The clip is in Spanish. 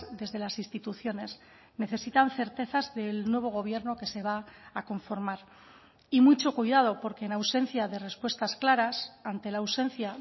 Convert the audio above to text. desde las instituciones necesitan certezas del nuevo gobierno que se va a conformar y mucho cuidado porque en ausencia de respuestas claras ante la ausencia